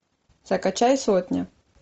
закачай сотня